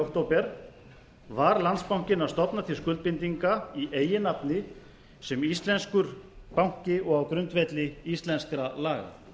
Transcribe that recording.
október var landsbankinn að stofna til skuldbindinga í eigin nafni sem íslenskur banki og á grundvelli íslenskra laga